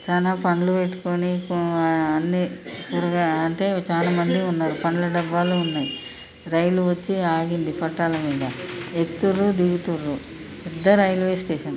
చానా పండ్లు పెట్టుకొని ఆ అన్ని అంటే చాలామంది ఉన్నారు పండ్ల డబ్బాలు ఉన్నాయి రైలు వచ్చే ఆగింది పట్టాల మీద ఎక్కుతుర్రు దిగుతురు (ఎక్కుతుండ్రు దిగుతుంది) పెద్ద రైల్వే స్టేషన్